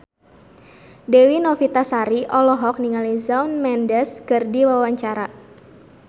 Dewi Novitasari olohok ningali Shawn Mendes keur diwawancara